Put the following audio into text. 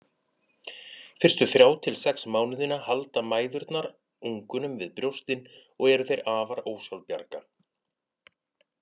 Fyrstu þrjá til sex mánuðina halda mæðurnar ungunum við brjóstin og eru þeir afar ósjálfbjarga.